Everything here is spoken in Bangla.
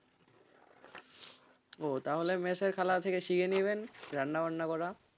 ও তাহলে মেসের খালার কাছ থেকে শিখে নেবেন রান্নাবান্না করা.